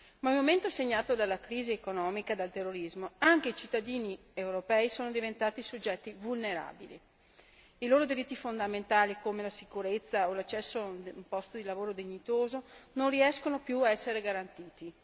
Ma nel momento segnato dalla crisi economica e dal terrorismo, anche i cittadini europei sono diventati soggetti vulnerabili i loro diritti fondamentali come la sicurezza o l'accesso in un posto di lavoro dignitoso non riescono più ad essere garantiti.